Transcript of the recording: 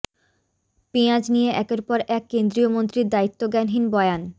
পেঁয়াজ নিয়ে একের পর এক কেন্দ্রীয় মন্ত্রীর দায়িত্বজ্ঞানহীন বয়ান